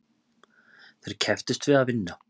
Þeir kepptust við að vinna.